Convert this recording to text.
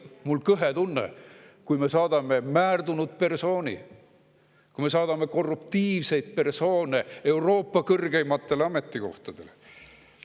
Minul on kõhe tunne, kui me saadame määrdunud persooni, kui me saadame korruptiivseid persoone Euroopa kõrgeimatele ametikohtadele.